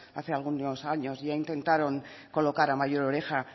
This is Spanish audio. hace algunos años ya intentaron colocar a mayor oreja